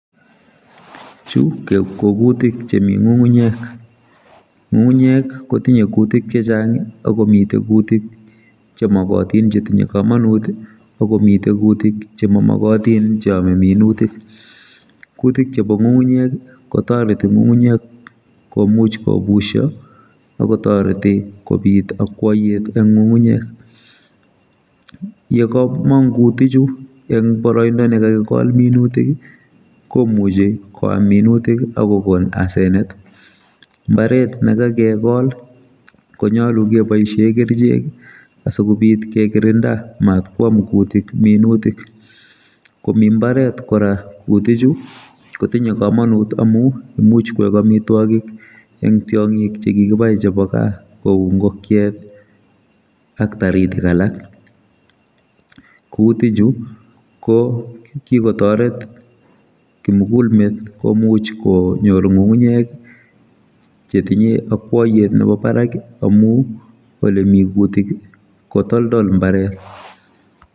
Chu kokutik chemi ngungunyek. ngungunyek kotinye kutik chechang akomite kutik chemokotin chetinye kamanut akomi kutik chemamagatin cheome minutik kutik chebo ngungunyek kotoreti ngungunyek komuch kobusio akotoreti kobit akwoiyet eng ngungunyek yekamong kutichu eng boroindo nekakikol minutik komucchi koam minutik akokon asenet mbaret nekakikol komoche keboisie kerchek asikobit kekirinda matkwam kutik minutik komi mbaret kora kutichu kotinye kamanut amu imuchi koek amitwagik eng tiongik chekikibai chebo kaa kou ngokiet ak taritik alak kutichu kokikotoret kimugulmet komuch konyor ngungunyek chetinye akwaiyet nebo barak amu olemi kutik kotoldol mbaret.